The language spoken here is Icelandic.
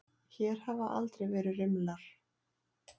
Hér hafa aldrei verið rimlar.